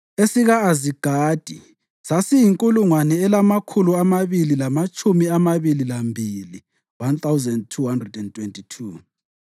esika-Azigadi sasiyinkulungwane elamakhulu amabili lamatshumi amabili lambili (1,222),